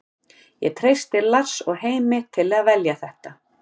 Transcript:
Ég treysti Lars og Heimi til að velja þetta.